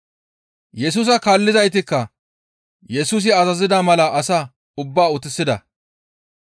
Yesusa kaallizaytikka Yesusi azazida mala asaa ubbaa utisida.